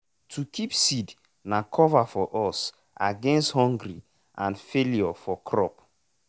to keep seed na cover for us against hungry and failure for crop.